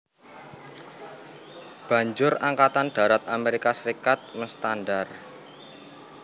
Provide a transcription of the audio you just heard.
Banjur Angkatan Darat Amerika Serikat menstandar